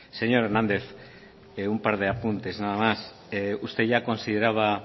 señor hernández un par de apuntes nada más usted ya consideraba